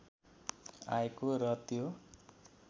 आएको र त्यो